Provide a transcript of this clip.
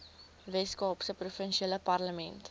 weskaapse provinsiale parlement